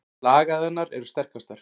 Slagæðarnar eru sterkastar.